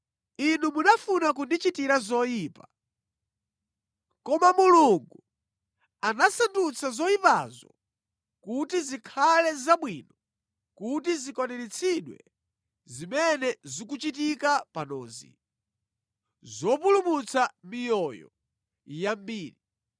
Inu munafuna kundichitira zoyipa, koma Mulungu anasandutsa zoyipazo kuti zikhale zabwino kuti zikwaniritsidwe zimene zikuchitika panozi, zopulumutsa miyoyo yambiri.